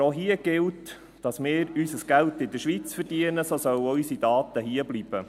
Aber auch hier gilt, dass wir unser Geld in der Schweiz verdienen, so sollen auch unsere Daten hierbleiben.